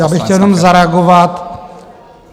Já bych chtěl jenom zareagovat.